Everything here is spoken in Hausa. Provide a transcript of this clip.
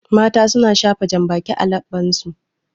Mata su na shafa janbaki a laɓɓan su